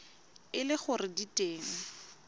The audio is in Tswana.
e le gore di teng